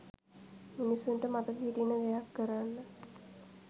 මිනිස්සුන්ට මතක හිටින දෙයක් කරන්න.